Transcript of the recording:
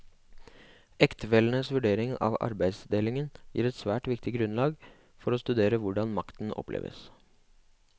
Ektefellenes vurderinger av arbeidsdelingen gir et særlig viktig grunnlag for å studere hvordan makten oppleves.